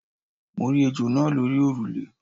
Mo rí ejò náa lórí òrùlé